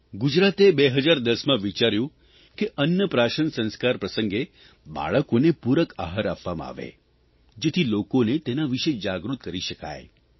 ગુજરાતે 2010માં વિચાર્યું કે અન્ન પ્રાશન સંસ્કાર પ્રસંગે બાળકોને પૂરક આહાર આપવામાં આવે જેથી લોકોને તેના વિષે જાગૃત કરી શકાય